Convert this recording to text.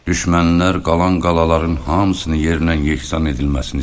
Düşmənlər qalan qalaların hamısını yerlə-yeksan edilməsini istədilər.